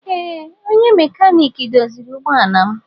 Ee onye mekaniki doziri ụgbọ ala m.